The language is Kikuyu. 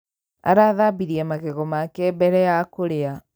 Arathambirie magego make mbere ya kũrĩa